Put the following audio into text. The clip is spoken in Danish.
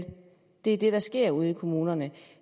det er det der sker ude i kommunerne